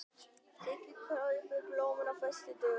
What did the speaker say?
Sigga kaupir blómin á föstudögum.